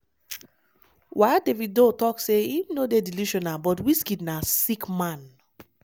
while davido tok say im no dey delusional but wizkid na "sick man."